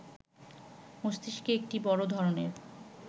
মস্তিষ্কে একটি বড় ধরনের